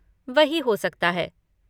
वही हो सकता है।